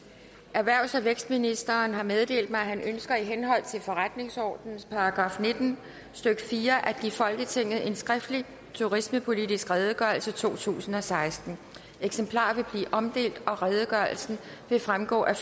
erhvervs og vækstministeren har meddelt mig at han ønsker i henhold til forretningsordenens § nitten stykke fire at give folketinget en skriftlig turismepolitisk redegørelse totusinde og sekstende eksemplarer vil blive omdelt og redegørelsen vil fremgå af